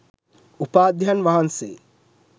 උපාධ්‍යයන් වහන්සේ